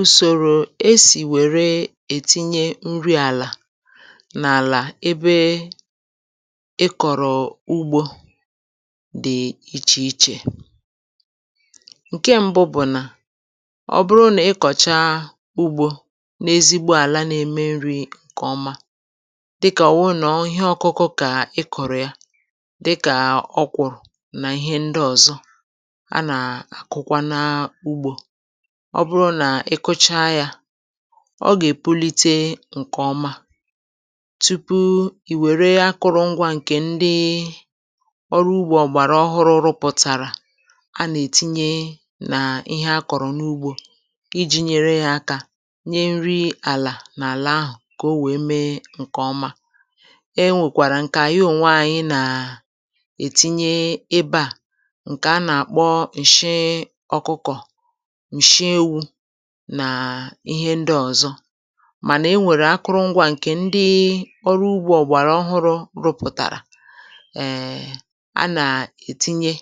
Ụsòrò esì wère ètinye nri àlà n’àlà ebe ị kọ̀rọ̀ ugbȯ dị̀ ichè ichè. Nke mbụ bụ̀ nà ọ bụrụ nà ịkọ̀cha ugbȯ n’ezigbo àla n’eme nri ǹkèọma, dịkà ọ̀ wụrụ nà ọ ihe ọkụkụ kà ị kọ̀rọ̀ ya dịka ọkwuru na ihe ndị ọzọ a na-akụkwa na ugbo; ọ bụrụ nà ị kụcha yȧ ọ gà-èpulite ǹkè ọma, tupu ì wère akụ̀rụ̀ ngwȧ ǹkè ndị ọrụ ugbȯ ọgbàrà ọhụrụ rụpụ̀tàrà a nà-ètinye nà ihe a kọ̀rọ̀ n’ugbȯ iji̇ nyere ihe akȧ nye nri àlà n’àlà ahụ̀ kà o nwèe mee ǹkè ọma. E nwèkwàrà ǹkè ànyị onwè ànyị nà-ètinye ebe à, nkè a na-akpọ nshị ọkụkọ, nshị èwụ nà ihe ndị ọ̀zọ; mànà enwèrè akụrụ ngwȧ ǹkè ndị̀ ọrụ ugbȯ ọgbàrà ọhụrụ̇ rụpụ̀tàrà, um a nà-ètinye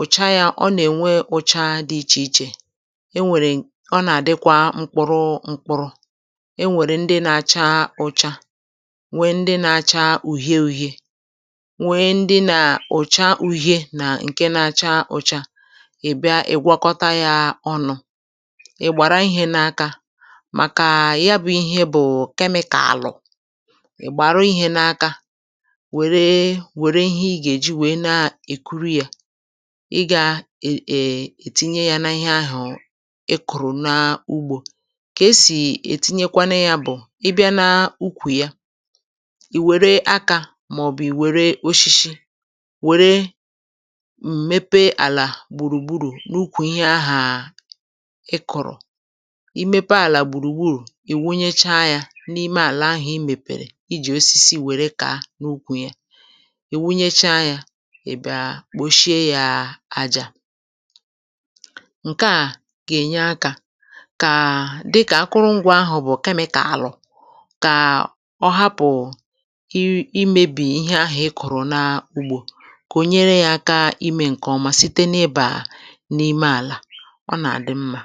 ụ̀cha yȧ ọ nà-ènwe ụcha dị ichè ichè; enwèrè ọ nà-àdịkwa mkpụrụ mkpụrụ enwèrè ndị nȧ-acha ụcha, nwèe ndị nȧ-acha ùhie úhie, nwèe ndị nà ụ̀cha uhie nà ǹke na-acha ụcha ị bịa ịgwàkọtà yà ọnụ; ị gbàra ihė n’aka màkà ya bụ̀ ihe bụ̀ kémịkàlụ, ị̀ gbàrà ihė n’aka wère wère ihe ị gà-èji wère na-èkuri yȧ ị gà um ètinye ya na ihe ahụ̀ ị kụ̀rụ̀ n’ugbȯ. Kà esì ètinyekwanụ yȧ bụ̀, ị bịa na ukwù ya ì wère akȧ màọ̀bụ̀ ì wère oshishi wèrè um mépé ala gburugburu n'ụkwu ihe aha ikụ̀rụ̀;i mépé ala gbùrùgburù i wunyecha ya n’ime àlà ahụ̀ i mèpèrè i jì osisi wère kàà n’ukwu ya; i wunyecha ya ị̀ bịa kpòshie yȧ àjà. Nke à gà-ènye akȧ kà dịkà akụrụngwọ̇ ahụ̀ bụ̀ kémịkàlụ, kà ọ hapụ ị imėbì ihe ahụ̀ ikụ̀rụ̀ n’ugbȯ, kà ò nyere yȧ aka imė ǹkèọma site n’ịbà n’ime àlà ọ nà-àdị mmȧ.